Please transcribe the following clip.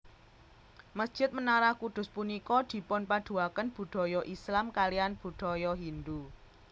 Mesjid Menara Kudus punika dipunpaduaken budaya Islam kaliyan budaya Hindu